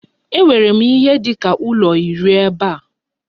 Enwere m ihe dị ka ụlọ iri ebe a.